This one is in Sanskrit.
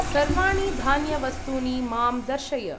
सर्वाणि धान्य वस्तूनि मां दर्शय।